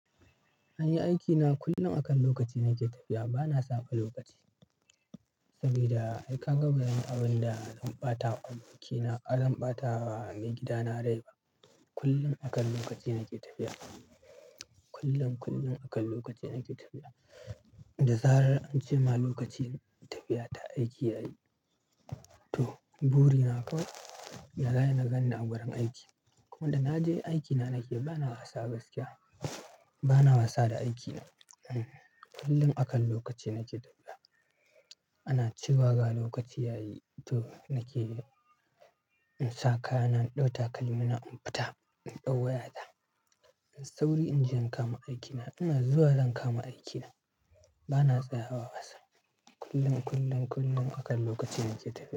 An yi aikina kullum akan lokaci na ke tafiya. Ba na saɓa lokaci saboda ai ka ga bazan yi abin da zan ɓata wa aikina, bazan ɓata wa mai gidana rai ba. Kullum akan lokaci na ke tafiya. Kullum, kullum akan lokaci na ke tafiya. Da zarar an ce ma lokacin tafiya ta aiki yayi to buri na kawai yaza ai nagan ni a wurin aiki. Kuma da na je aikina na ke, ba na wasa gaskiya. Ba na wasa da aikina. Kullum akan lokaci na ke tafiya. Ana cewa ga lokaci yayi to na ke, in sakayana in ɗau takalmina in fita, in ɗau wayata. Sauri in je in kama aikina. Ina zuwa zan kama aikina bana tsayawa wasa. Kullum, kullum, kullum akan lokaci na ke tafiya.